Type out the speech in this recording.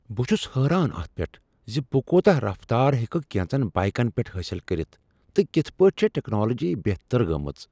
بہٕ چھس حیران اتھ پیٹھ ز بہٕ کوتاہ رفتارٕ ہیکہٕ کینژن بایکن پیٹھ حٲصل کٔرتھ تہٕ کتھ پٲٹھۍ چھےٚ ٹیکنالوجی بہتر گٔمٕژ۔